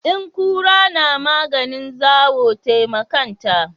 In kura na maganin zawo tai wa kanta.